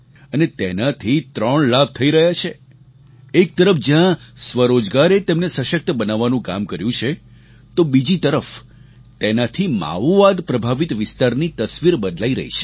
અને તેનાથી ત્રણ લાભ થઈ રહ્યા છે એક તરફ જ્યાં સ્વરોજગારે તેમને સશક્ત બનાવવાનું કામ કર્યું છે તો બીજી તરફ તેનાથી માઓવાદ પ્રભાવિત વિસ્તારની તસવીર બદલાઈ રહી છે